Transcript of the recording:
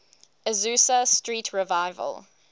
azusa street revival